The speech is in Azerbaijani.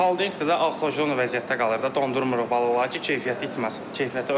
Xolodilnikdə də axajon vəziyyətdə qalır da, dondurmuruq balıqları ki, keyfiyyəti itməsin, keyfiyyəti ölməsin.